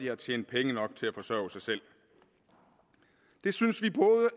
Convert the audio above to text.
har tjent penge nok til at forsørge sig selv det synes vi